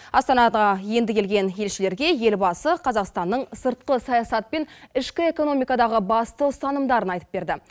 астанаға енді келген елшілерге елбасы қазақстанның сыртқы саясат пен ішкі экономикадағы басты ұстанымдарын айтып берді